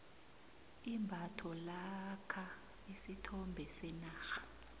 imbatho lakha isithombe senarha